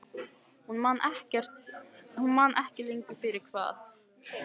Hún man ekki lengur fyrir hvað.